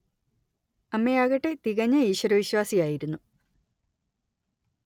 അമ്മയാകട്ടെ തികഞ്ഞ ഈശ്വരവിശ്വാസിയായിരുന്നു